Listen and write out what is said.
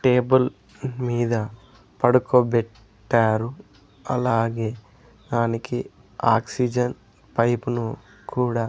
Table మీద పడుకో better అలాగే దానికి ఆక్సిజన్ పైపు ను కూడా.